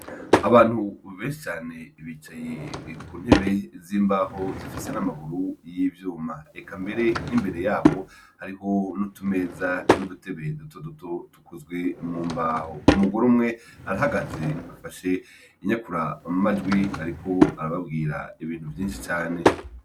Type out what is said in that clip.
Abantu benshi cane bicaye ku ntebe yimbaho zifise n’amaguru y’ivyuma eka mbere n’imbere yaho hariho nutumeza nudutebe dutoduto dukozwe mi mbaho, umugore umwe arahagaze afashe inyakura majwi ariko arababwira ibintu vyinshi cane.